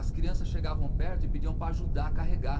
As crianças chegavam perto e pediam para ajudar a carregar.